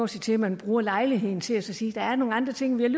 sige til at man bruger lejligheden til at sige at der er nogle andre ting man